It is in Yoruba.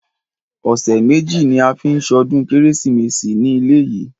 Ọ̀sẹ̀ méjì ní a ó fi ṣọdún kérésìmesì ní ilé yìí.